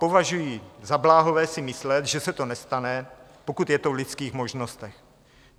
Považuji za bláhové si myslet, že se to nestane, pokud je to v lidských možnostech.